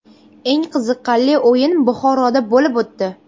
Eng qiziqarli o‘yin Buxoroda bo‘lib o‘tdi.